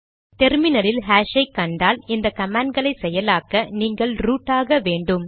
டெர்மினலில் ஹாஷ் ஐ கண்டால் இந்த கமாண்ட் களை செயலாக்க நீங்கள் ரூட் ஆக வேண்டும்